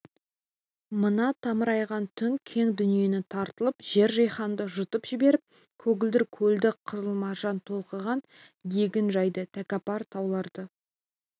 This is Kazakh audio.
мына тымырайған түн кең дүниені тарылтып жер-жиһанды жұтып жіберіп көгілдір көлді қызыл маржан толқыған егін жайды тәкаппар тауларды